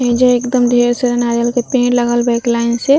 ऐईजा एकदम ढेर सारा नारियल के पेड़ लगल बा लाइन से।